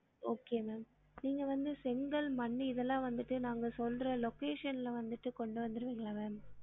Okay ma'am நீங்க வந்து செங்கல் மண்ணு இதலாம் வந்துட்டு நாங்க சொல்ற location ல வந்துட்டு கொண்டு வந்திருவிங்களா ma'am